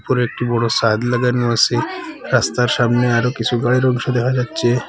ওপরে একটি বড় সাদ লাগানো আসে রাস্তার সামনে আরও কিছু গাড়ির অংশ দেখা যাচ্ছে।